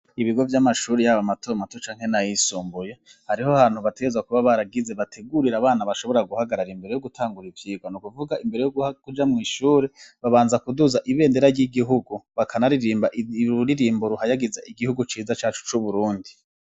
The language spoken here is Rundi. Ibigo vy'amashuri yabo amatomatu canke n' ayisumbuye hariho hantu bateza kuba baragize bategurira abana bashobora guhagarara imbere yo gutangura ivyirwa niukuvuga imbere yo kuja mw'ishure babanza kuduza ibendera ry'igihugu bakana ririmba iruririmbo ruhayagiza igihugu ciza cacu c'uburundi.